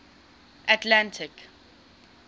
atlantic